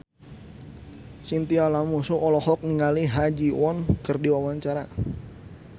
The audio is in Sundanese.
Chintya Lamusu olohok ningali Ha Ji Won keur diwawancara